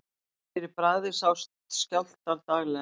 fyrir bragðið sjást skjálftar daglega